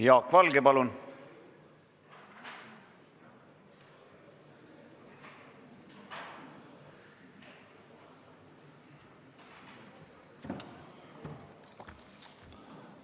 Jaak Valge, palun!